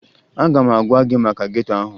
Aga m agwa gị maka geto ahụ